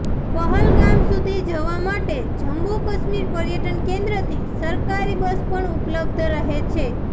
પહલગામ સુધી જવા માટે જમ્મુ કશ્મીર પર્યટન કેન્દ્ર થી સરકારી બસ પણ ઉપલબ્ધ રહે છે